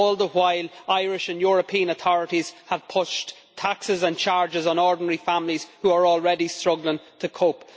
All the while Irish and European authorities have pushed taxes and charges on ordinary families who are already struggling to cope.